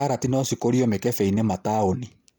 Karati nocikũrio mĩkebeinĩ mataũni.